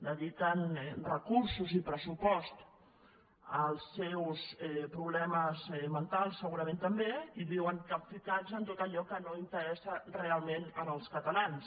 dediquen recursos i pressupost als seus problemes mentals segurament també i viuen capficats en tot allò que no interessa realment els catalans